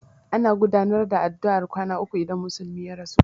Ana gudanar da addu'ar kwana uku idan musulmi ya rasu.